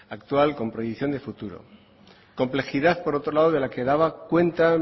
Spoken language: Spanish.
actual con proyección de futuro complejidad por otro lado de la que daba cuenta